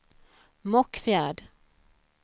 Mockfjärd